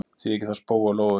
Því ekki þá spóa og lóu?